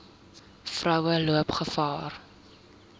vroue loop gevaar